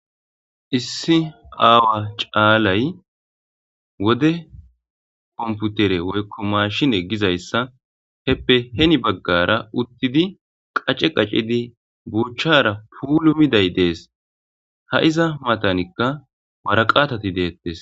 issi aawa caalay wode komputere woykko maashin eggizayssa heppe heni baggara uttidi qacce qacidi buuchchara puulu miday dees ha iza matanikka waraqatati deettes